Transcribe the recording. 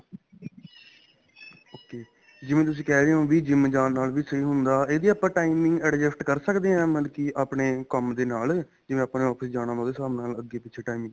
okay ਜਿਵੇਂ ਤੁਸੀਂ ਕਹਿ ਰਹੇ ਹੋ ਵੀ GYM ਜਾਣ ਨਾਲ ਵੀ ਸਹੀਂ ਹੁੰਦਾ ਇਹਦੀ ਆਪਾਂ timing adjust ਕਰ ਸਕਦੇ ਹਾਂ ਮਤਲਬ ਕੀ ਆਪਣੇ ਕੰਮ ਦੇ ਨਾਲ ਜਿਵੇਂ ਆਪਾਂ ਨੇ office ਜਾਣਾ ਉਹਦੇ ਹਿਸਾਬ ਨਾਲ ਅੱਗੇ ਪਿੱਛੇ timing